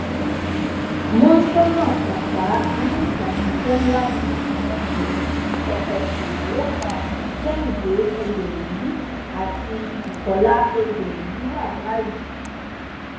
mọńsónà saka inú ìbànújẹ ńlá ni àwọn mọlẹbí tọkọ tíyàwó kan kehinde egbẹyí àti bukola egbẹyí wà báyìí